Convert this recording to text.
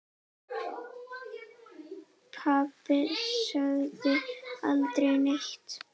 Pabbi sagði aldrei neitt.